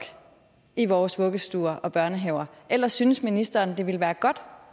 i vores vuggestuer og børnehaver eller synes ministeren det ville være godt